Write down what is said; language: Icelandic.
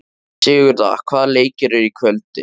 Sigurða, hvaða leikir eru í kvöld?